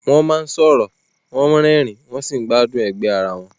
Wọ́n máa ń sọ̀rọ̀, wọ́n rẹ́rìn-ín, wọ́n sì gbádùn ẹgbẹ́ ara wọn.